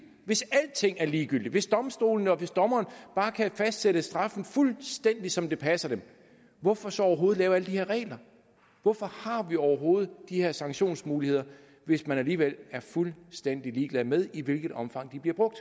hvis alting er ligegyldigt hvis domstolene og dommeren bare kan fastsætte straffen fuldstændig som det passer dem hvorfor så overhovedet lave alle de her regler hvorfor har vi overhovedet de her sanktionsmuligheder hvis man alligevel er fuldstændig ligeglad med i hvilket omfang de bliver brugt